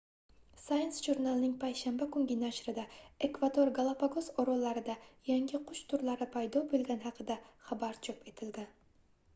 science jurnalining payshanba kungi nashrida ekvador galapagos orollarida yangi qush turlari paydo boʻlgani haqida xabar chop etilgan